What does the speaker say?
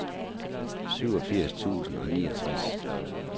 syvogfirs tusind og niogtres